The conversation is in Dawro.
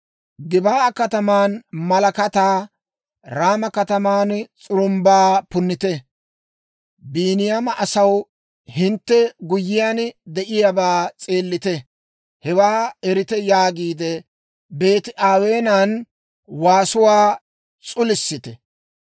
Gib'aa kataman malakataa, Raama kataman s'urumbbaa punnite. «Biiniyaama asaw, hintte guyyiyaan de'iyaabaa s'eelite; hewaa erite!» yaagiide, Beeti-Aweenan waasuwaa s'ulisite.